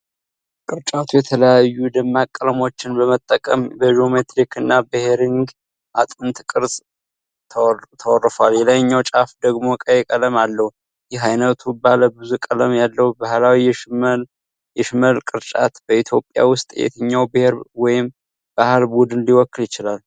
ቅርጫቱ የተለያዩ ደማቅ ቀለሞችን በመጠቀም በጂኦሜትሪክ እና በሄሪንግ አጥንት ቅርጽ ተወርፏል። የላይኛው ጫፍ ደግሞ ቀይ ቀለም አለው። ይህ ዓይነቱ ባለ ብዙ ቀለም ያለው ባህላዊ የሽመል ቅርጫት በኢትዮጵያ ውስጥ የትኛውን ብሔር ወይም የባህል ቡድን ሊወክል ይችላል?